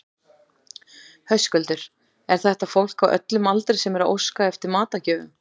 Höskuldur, er þetta fólk á öllum aldri sem er að óska eftir matargjöfum?